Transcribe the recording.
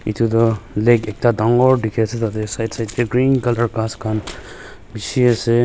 etu tu lake ekta dangor dikhi ase tate side side te green colour ghass khan bishi ase.